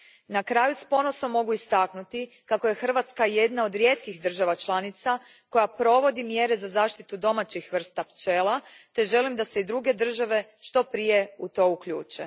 Na kraju, s ponosom mogu istaknuti kako je Hrvatska jedna od rijetkih država članica koja provodi mjere za zaštitu domaćih vrsta pčela te želim da se i druge države što prije u to uključe.